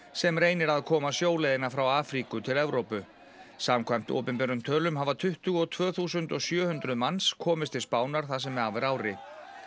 sem reynir að komast sjóleiðina frá Afríku til Evrópu samkvæmt opinberum tölum hafa tuttugu og tvö þúsund og sjö hundruð manns komist til Spánar það sem af er ári